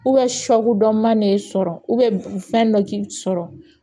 sɔku dɔn'i sɔrɔ u bɛn fɛn dɔ k'i sɔrɔ